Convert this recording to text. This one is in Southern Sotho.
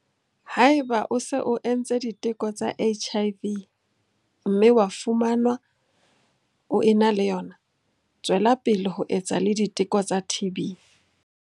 Haeba o se o entse diteko tsa HIV, mme wa fumanwa o ena le yona, tswela pele ho etsa le diteko tsa TB.